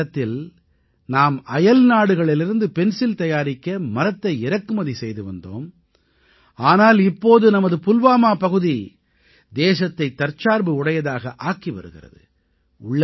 ஒரு காலத்தில் நாம் அயல்நாடுகளிலிருந்து பென்சில் தயாரிக்க மரத்தை இறக்குமதி செய்து வந்தோம் ஆனால் இப்போது நமது புல்வாமா பகுதி தேசத்தைத் தற்சார்பு உடையதாக ஆக்கி வருகிறது